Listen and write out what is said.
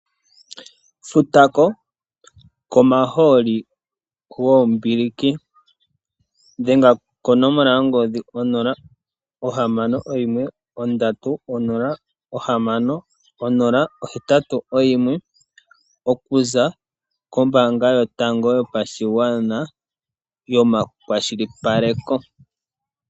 Futa ko komahooli goombiliki. Dhenga konomola yongodhi 061 306081 okuza kombaanga yotango yopashigwana yomakwashilipaleko.